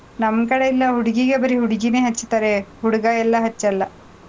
ನಮ್ ಕಡೆಯೆಲ್ಲ ಹುಡ್ಗಿಗೆ ಬರೀ ಹುಡ್ಗಿನೇ ಹಚ್ತಾರೆ, ಹುಡ್ಗ ಎಲ್ಲಾ ಹಚ್ಚಲ್ಲ.